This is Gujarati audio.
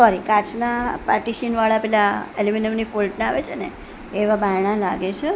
કાચનાં પાર્ટિશન વાળા પેલા એલ્યુમિનિયમ ની ફોઈલ આવે છેને એવા બારણાં લાગે છે.